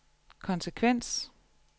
konsekvens